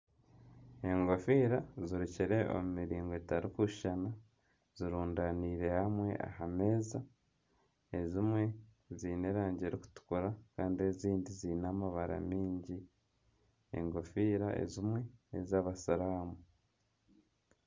Enkofiira zirukire omu miringo etarikushushana zirundaniire hamwe aha meeza, ezimwe ziine erangi erikutukura. Kandi ezindi ziine amabara maingi. Enkofiira ezimwe n'ez'abasiramu.